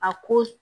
A ko